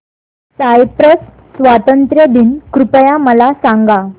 Cyprus स्वातंत्र्य दिन कृपया मला सांगा